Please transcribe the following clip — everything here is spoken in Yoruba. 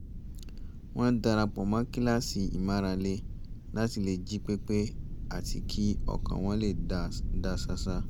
wọ́n dara pọ̀ mọ́ kíláàsì ìmárale láti lè jí pé pé àti kí ọkàn wọn lè dá ṣáṣá